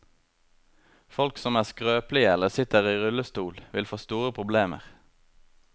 Folk som er skrøpelige eller sitter i rullestol, vil få store problemer.